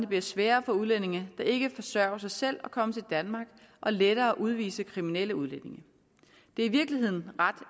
bliver sværere for udlændinge der ikke forsørger sig selv at komme til danmark og lettere at udvise kriminelle udlændinge det er i virkeligheden ret